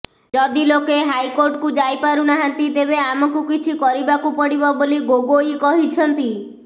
ଯଦି ଲୋକେ ହାଇକୋର୍ଟକୁ ଯାଇ ପାରୁ ନାହାନ୍ତି ତେବେ ଆମକୁ କିଛି କରିବାକୁ ପଡ଼ିବ ବୋଲି ଗୋଗୋଇ କହିଛନ୍ତି